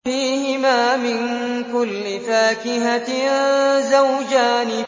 فِيهِمَا مِن كُلِّ فَاكِهَةٍ زَوْجَانِ